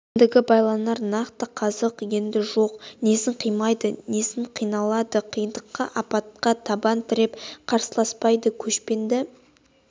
кіндігі байланар нақты қазық онда жоқ несін қимайды несіне қиналады қиындыққа апатқа табан тіреп қарсыласпайды көшпенді